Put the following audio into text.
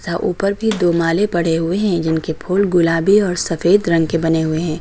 ऊपर भी दो माले पड़े हुए हैं जिनके फूल गुलाबी और सफेद रंग के बने हुए हैं।